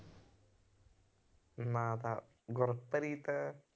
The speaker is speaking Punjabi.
ਨਾਂ ਤਾਂ ਗੁਰਪ੍ਰੀਤ